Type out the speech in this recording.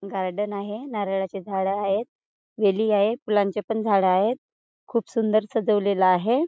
Garden आहे नारळाचे झाड आहेत वेली आहेत फुलांचे पण झाडं आहेत खूप सुंदर सजवलेल आहे.